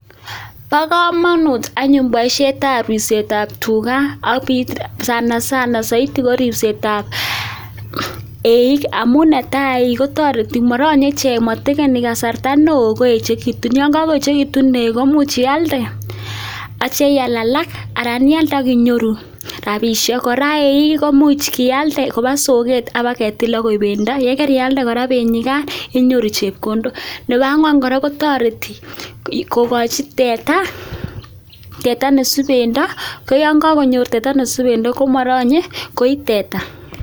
Bokomonut anyun boishetab ribsetab tukaa ak sana sana soiti koribsetab eiik amun netaa eiik kotoreti ichek motekeni kasarta neoo koechekitun yoon ko koechekitun nekoo imuch ialde akitio iaal alak aran ialde ak inyoru rabisjhek kora eiik koimuch ialde kobaa soket ak ibaketil ak koboik bendo, yekarialde kora benuikan inyoru chepkondok, nebo angwankora kotoreti kokochi teta ne subendo, koyon kokonyor teta nee subendo komoronye koii teta.